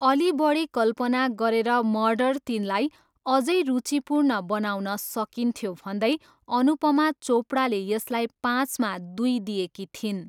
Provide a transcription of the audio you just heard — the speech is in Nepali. अलि बढी कल्पना गरेर मर्डर तिनलाई अझै रुचिपूर्ण बनाउन सकिन्थ्यो भन्दै अनुपमा चोपडाले यसलाई पाँचमा दुई दिएकी थिइन्।